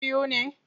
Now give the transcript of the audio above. Ku 'yan biyu ne?